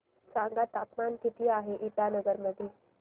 सांगा तापमान किती आहे इटानगर मध्ये